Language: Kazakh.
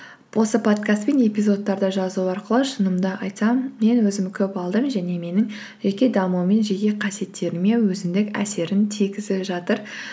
осы подкаст пен эпизодтарды жазу арқылы шынымды айтсам мен өзім көп алдым және менің жеке дамуым мен жеке қасиеттеріме өзіндік әсерін тигізіп жатыр